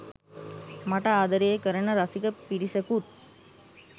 මට ආදරේ කරන රසික පිරිසකුත්